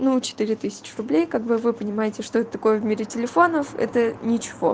ну четыре тысячи рублей как бы вы понимаете что это такое в мире телефонов это ничего